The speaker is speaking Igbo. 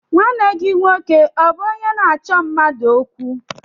Nwanne gị nwoke ọ bụ onye na-achọ mmadụ okwu?